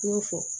N y'o fɔ